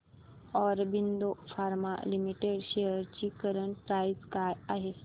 Aurobindo pharma limited shares ची current price काय आहे